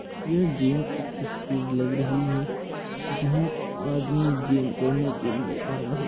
यह जिम की तस्वीर लग रही है जहाँ आदमी जीम करने के लिए आया हुआ --